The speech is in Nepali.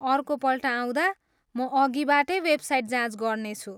अर्कोपल्ट आउँदा म अघिबाटै वेबसाइट जाँच गर्नेछु।